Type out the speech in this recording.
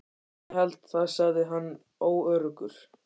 Ég held það sagði hann óöruggur.